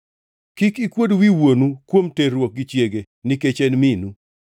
“ ‘Kik ikuod wi wuonu kuom terruok gi chiege, nikech en minu.